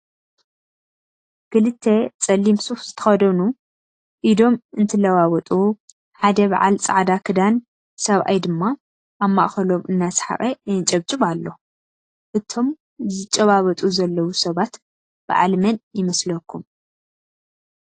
ክልተ ፀሊም ሱፍ ዝተኸደኑ ኢዶም እንትለዋወጡ፣ ሓደ በዓል ፀዓዳ ክዳን ሰብኣይ ድማ ኣብ ማእኸሎም እናሰሓቐ የንጨብጭብ ኣሎ፡፡ እቶም ዝጨባበጡ ዘለው ሰባት በዓል መን ይመስለኩም?